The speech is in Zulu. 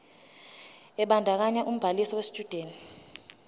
ebandakanya ubhaliso yesitshudeni